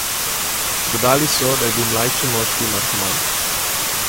Dodali so, da je bil mlajši moški narkoman.